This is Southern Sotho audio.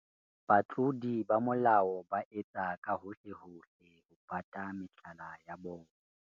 Batlodi ba molao ba etsa ka bohohlehohle ho pata mehlala ya bona.